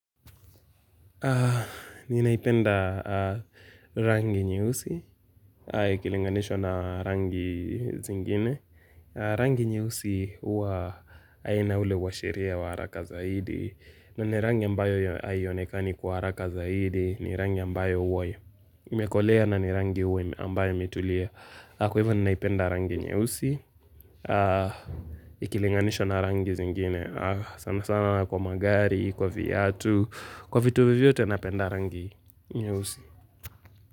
Ninaipenda rangi nyeusi, ikilinganishwa na rangi zingine. Rangi nyeusi huwa haina ule uashiria wa haraka zaidi. Na ni rangi ambayo haionekani kwa haraka zaidi, ni rangi ambayo huwa imeokolea na ni rangi huwa ambayo imetulia. Kwa hivyo ninaipenda rangi nyeusi Ikilinganishwa na rangi zingine. Sana sana na kwa magari, kwa viatu, kwa vitu vyovyote napenda rangi nyeusi.